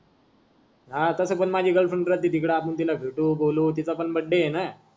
हा तस पण माझी गर्लफ्रेंड पण तीकडे आहे आपण तिला भेटू बोलू तिचा पण बर्थडे आहे ना.